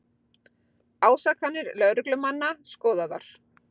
Ásakanir lögreglumanna skoðaðar